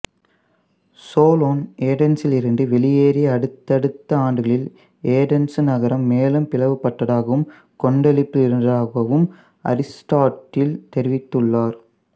Solon ஏதென்சிலிருந்து வெளியேறிய அடுத்ததடுத்த ஆண்டுகளில் ஏதென்சு நகரம் மேலும் பிளவுபட்டதாகவும் கொந்தளிப்பில் இருந்ததாகவும் அரிசுட்டாட்டில் தெரிவித்துள்ளார்